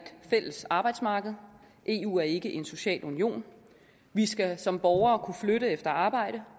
fælles arbejdsmarked eu er ikke en social union vi skal som borgere kunne flytte efter arbejde